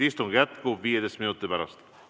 Istung jätkub 15 minuti pärast.